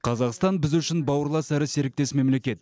қазақстан біз үшін бауырлас әрі серіктес мемлекет